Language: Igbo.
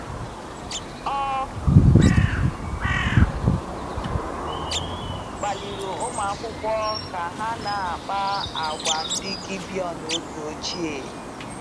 Ọ kpaliri ụmụakwụkwọ ka ha na kpá àgwà ndị Gibeon oge ochie.